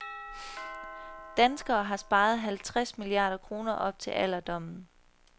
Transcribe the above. Danskerne har sparet halvtreds milliarder kroner op til alderdommen.